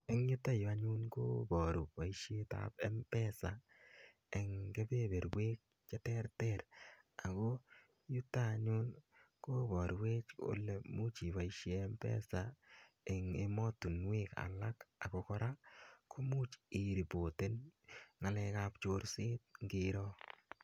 Eng' yutayu anyun koparu poishet ap Mpesa eng' kepeperwek che terter ako yuto anyun koparwech kole imuch ipoishe Mpesa en ematunwek alak ako kora ko much iripoten ng'alek ap chorset ngiro.